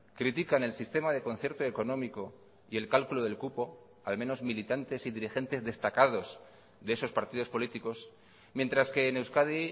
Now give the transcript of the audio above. critican el sistema de concierto económico y el cálculo del cupo al menos militantes y dirigentes destacados de esos partidos políticos mientras que en euskadi